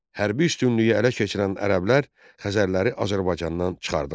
Hərbi üstünlüyü ələ keçirən ərəblər Xəzərləri Azərbaycandan çıxardılar.